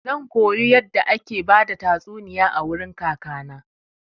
Zan koyo yadda ake bada tastuniya a wurin kaka na.